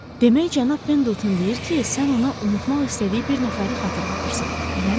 Demək cənab Pendelton deyir ki, sən ona unutmaq istədiyi bir nəfəri xatırladırsan, eləmi?